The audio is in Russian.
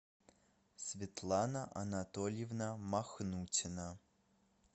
светлана анатольевна махнутина